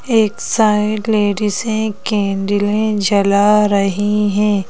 एक side lady से कैंडलें जला रही है।